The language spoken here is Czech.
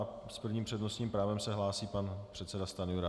A s prvním přednostním právem se hlásí pan předseda Stanjura.